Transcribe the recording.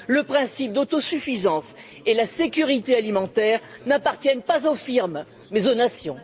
Le principe d'autosuffisance et la sécurité alimentaire n'appartiennent pas aux firmes mais aux nations.